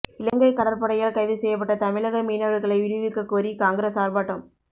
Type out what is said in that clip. இலங்கை கடற்படையால் கைது செய்யப்பட்ட தமிழக மீனவர்களை விடுவிக்கக்கோரி காங்கிரஸ் ஆர்ப்பாட்டம்